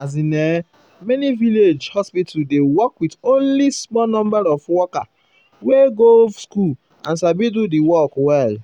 as in[um]many village um hospital dey work with only small number of um worker wey go school and sabi do work well.